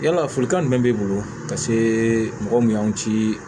Yala folikan jumɛn b'i bolo ka se mɔgɔ min y'aw ci